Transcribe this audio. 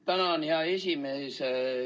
Tänan, hea esimees!